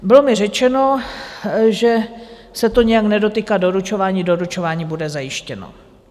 Bylo mi řečeno, že se to nijak nedotýká doručování, doručování bude zajištěno.